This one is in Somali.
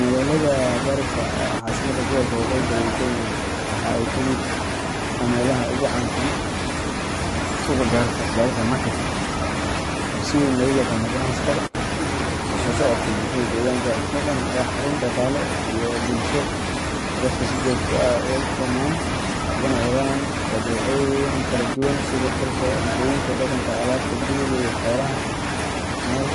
Magaalada Garissa, oo ah caasimadda gobolka waqooyi bari ee Kenya, waxaa ka mid ah meelaha ugu caansan Suuqa Garissa Garissa Market) oo si weyn loogu yaqaan ganacsiga dhaqanka iyo isku socodka bulshada deegaanka. Suuqan waa xarun dhaqaale iyo bulsho oo ay dadku si joogto ah ugu kulmaan, ugana helaan badeecooyin kala duwan sida dharka, cuntooyinka dhaqanka, alaabta guriga, iyo xoolaha nool.